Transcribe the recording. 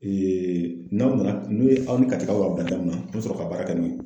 n'aw nana n'o ye aw ni Katikaw y'a bila da min na an bɛ sɔrɔ ka baara kɛ n'o ye.